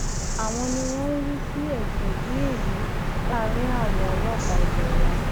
àwọn ni wọn ń rí sí ẹsùn bíi èyí láàrin àwọn ọlọpàá ilé wa